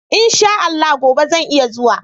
In sha Allah gobe zan iya zuwa.